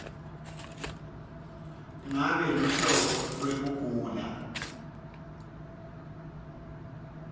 ngabe luhlobo lwekugula